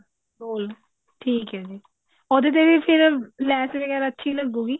ਗੋਲ ਠੀਕ ਹੈ ਜੀ ਉਹਦੇ ਤੇ ਫਿਰ ਲੈਸ ਵਗੇਰਾ ਅੱਛੀ ਲੱਗੂ ਗੀ